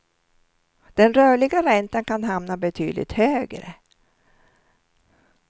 Den rörliga räntan kan hamna betydligt högre.